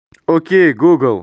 окей гугл